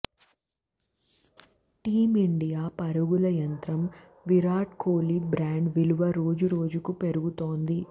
team India పరుగుల యంత్రం Virat Kohli brand విలువ రోజురోజుకు పెరుగుతోంది